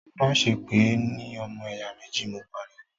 má ṣe pè é ní “ ọmọ ẹ̀yà méjì ” mọ̀! ó pariwo.